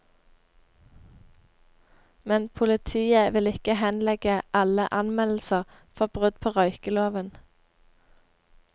Men politiet vil ikke henlegge alle anmeldelser for brudd på røykeloven.